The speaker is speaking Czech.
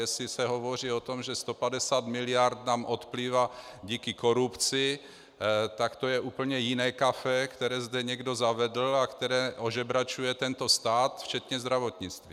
Jestli se hovoří o tom, že 150 miliard nám odplývá kvůli korupci, tak to je úplně jiné kafe, které zde někdo zavedl a které ožebračuje tento stát, včetně zdravotnictví.